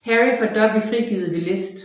Harry får Dobby frigivet ved list